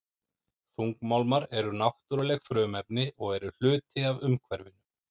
Þungmálmar eru náttúruleg frumefni og eru hluti af umhverfinu.